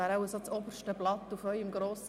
Ich gebe dem Antragsteller das Wort.